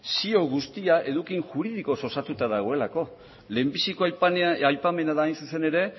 zio guztia eduki juridikoz osatuta dagoelako lehenbiziko aipamena da hain zuzen